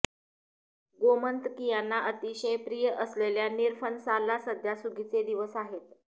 गोमंतकीयांना अतिशय प्रिय असलेल्या निरफणसाला सध्या सुगीचे दिवस आहेत